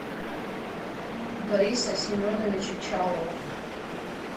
бориса семеновича чалова